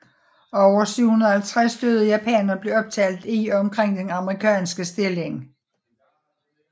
Over 750 døde japanere blev optalt i og omkring den amerikanske stilling